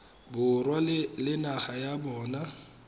borwa le naga ya bona